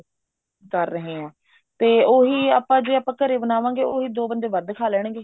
ਕਰ ਰਹੇ ਹਾਂ ਤੇ ਉਹੀ ਆਪਾਂ ਜੇ ਆਪਾਂ ਘਰੇ ਬਣਾਵਾਂਗੇ ਤੇ ਉਹੀ ਦੋ ਬੰਦੇ ਵੱਧ ਖਾ ਲੈਣਗੇ